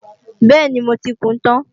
Bẹ́ẹ̀ni, mo ti kùún tán